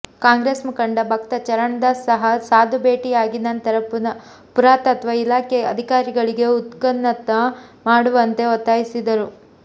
ಕಾಂಗ್ರೆಸ್ ಮುಖಂಡ ಭಕ್ತ ಚರಣ್ ದಾಸ್ ಸಹ ಸಾಧು ಭೇಟಿಯಾಗಿ ನಂತರ ಪುರಾತತ್ವ ಇಲಾಖೆ ಅಧಿಕಾರಿಗಳಿಗೆ ಉತ್ಖನನ ಮಾಡುವಂತೆ ಒತ್ತಾಯಿಸಿದ್ದರು